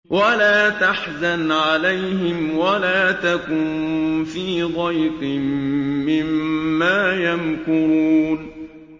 وَلَا تَحْزَنْ عَلَيْهِمْ وَلَا تَكُن فِي ضَيْقٍ مِّمَّا يَمْكُرُونَ